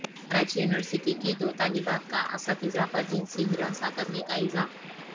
Karachi university کی دو طالبات کا اساتذہ پر جنسی ہراساں کرنے کاالزام